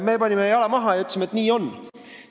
Me panime jala maha ja ütlesime, et nii on.